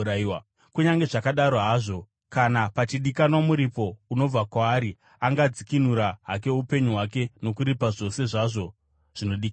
Kunyange zvakadaro hazvo, kana pachidikanwa muripo unobva kwaari angadzikinura hake upenyu hwake nokuripa zvose zvazvo zvinodikanwa.